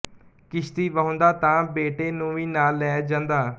ਕਿਸ਼ਤੀ ਵਾਹੁੰਦਾ ਤਾਂ ਬੇਟੇ ਨੂੰ ਵੀ ਨਾਲ ਲੈ ਜਾਂਦਾ